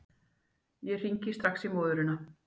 Ég hringi strax í móðurina.